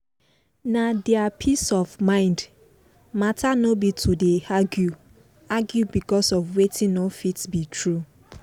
na deir peace of mind matter nor be to dey argue argue becos of wetin nor fit be true